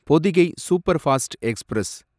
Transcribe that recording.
Pothigai superfast express